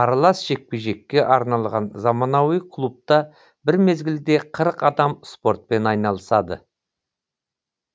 аралас жекпе жекке арналған заманауи клубта бір мезгілде қырық адам спортпен айналысады